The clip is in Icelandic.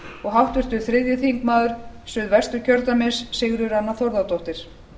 og háttvirtur þriðji þingmaður suðvesturkjördæmis sigríður anna þórðardóttir